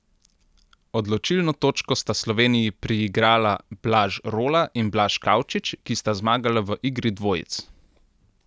Odločilno točko sta Sloveniji priigrala Blaž Rola in Blaž Kavčič, ki sta zmagala v igri dvojic.